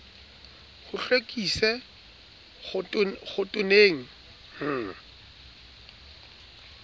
ho hlwekise khotone le h